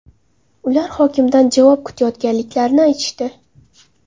Ular hokimdan javob kutayotganliklarini aytishdi.